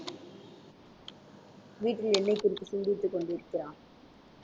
வீட்டில் என்னைக் குறித்து சிந்தித்துக் கொண்டிருக்கிறார்